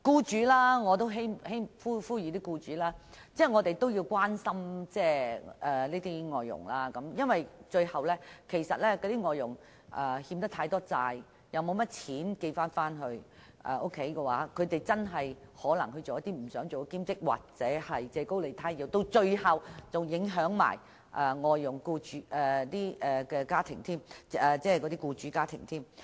此外，我也希望呼籲僱主關心外傭，因為如果外傭欠債太多，沒有多少錢寄回老家，可能逼於無奈從事兼職或借高利貸，最後只會影響聘請外傭的僱主家庭。